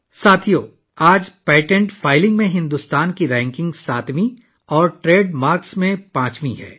دوستو، آج بھارت کی درجہ بندی پیٹنٹ فائلنگ میں 7ویں اور ٹریڈ مارکس میں 5ویں نمبر پر ہے